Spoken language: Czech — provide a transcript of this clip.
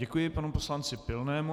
Děkuji panu poslanci Pilnému.